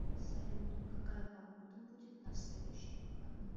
салют какая погода будет на следующих выходных